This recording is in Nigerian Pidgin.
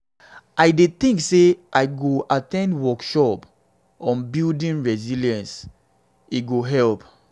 i dey think say i go at ten d workshops on building resilience; e go help.